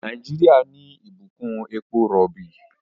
Nàìjíríà ní Ìbùkún èpo robi.